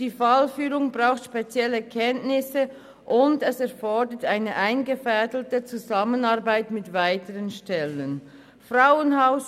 die Fallführung braucht spezielle Kenntnisse, zudem ist eine eingefädelte Zusammenarbeit mit weiteren Stellen erforderlich: